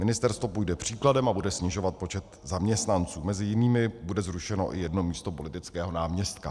Ministerstvo půjde příkladem a bude snižovat počet zaměstnanců, mezi jinými bude zrušeno i jedno místo politického náměstka.